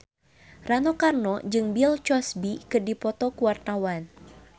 Rano Karno jeung Bill Cosby keur dipoto ku wartawan